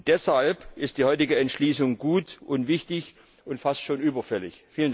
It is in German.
Deshalb ist die heutige Entschließung gut und wichtig und fast schon überfällig!